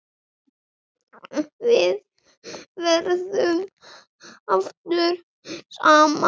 Við verðum aftur saman síðar.